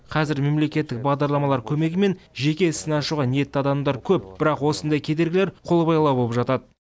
қазір мемлекеттік бағдарламалар көмегімен жеке ісін ашуға ниетті адамдар көп бірақ осындай кедергілер қолбайлау болып жатады